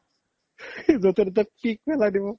য্'তে ততে পিক্ক পেলাই দিব